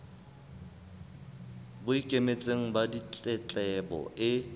bo ikemetseng ba ditletlebo e